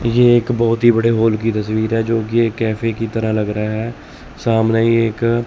ये एक बहुत ही बड़े वॉल की तस्वीर है जो की एक कैफे की तरह लग रहा है सामने ही एक --